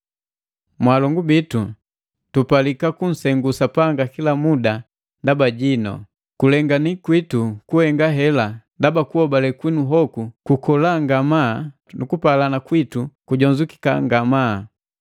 Mwalongu bitu, tupalika kunsengu Sapanga kila muda ndaba jinu. Kulengani kwitu kuhenga hela ndaba kuhobale kwinu kukola ngamaa nu kupalana kwitu kujonzukeka ngamaa.